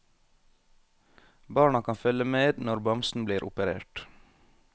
Barna kan følge med når bamsen blir operert.